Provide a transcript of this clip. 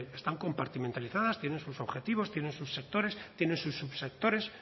están compartimentalizadas tienen sus objetivos tienen sus sectores tienen sus subsectores